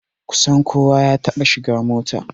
Kusan kowa ya taɓa shiga mota